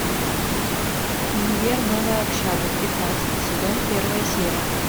универ новая общага пятнадцатый сезон первая серия